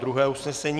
Druhé usnesení.